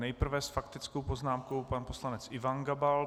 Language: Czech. Nejprve s faktickou poznámkou pan poslanec Ivan Gabal.